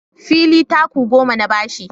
Fili taku goma na ba shi